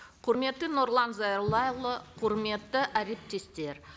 құрметті нұрлан зайроллаұлы құрметті әріптестер